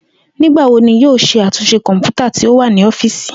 Nigbawo ni yoo ṣe atunṣe kọnputa ti o wa ni ọfiisi?